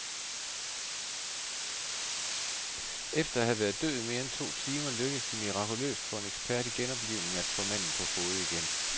Efter at have været død i mere end to timer lykkedes det mirakuløst for en ekspert i genoplivning at få manden på fode igen.